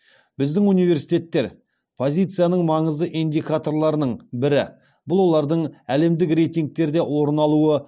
біздің университеттер позициясының маңызды индикаторларының бірі бұл олардың әлемдік рейтингтерде орын алуы